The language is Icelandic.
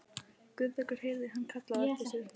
Guðbergur heyrði hann kallað á eftir sér.